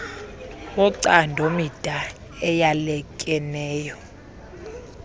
wocando mida eyalekeneyo